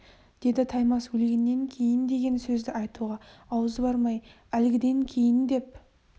деді таймас өлгеннен кейін деген сөзді айтуға аузы бармай әлгіден кейін деп